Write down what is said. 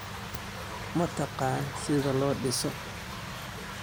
Ma taqaan sida loo dhiso?